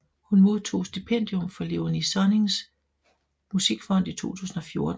Hun modtog stipendium fra Léonie Sonnings Musikfond i 2014